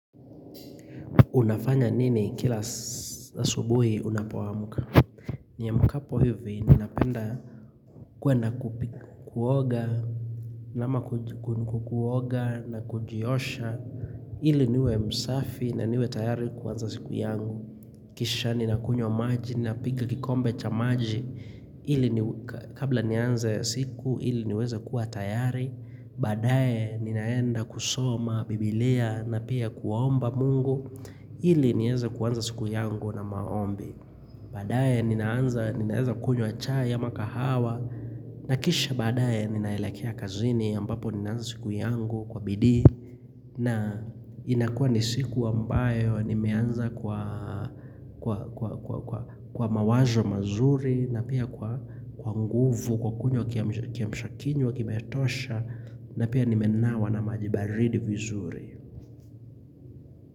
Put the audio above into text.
Unafanya nini kila asubuhi unapoamuka Niamkapo hivi ninapenda kuenda kuoga na kujiosha ili niwe msafi na niwe tayari kuanza siku yangu Kisha ninakunywa maji napiga kikombe cha maji ili kabla nianze siku ili niweze kuwa tayari Baadae ninaenda kusoma, bibilia na pia kuomba mungu ili nieza kuanza siku yangu na maombi baadae ninaanza kunywa chai ama kahawa na kisha baadae ninaelekea kazini ambapo ninaanza siku yangu kwa bidii na inakua ni siku ambayo nimeanza kwa mawazo mazuri na pia kwa nguvu kwa kunywa kiamshakinywa kiamshakinywa kimetosha na pia nimenawa na maji baridi vizuri.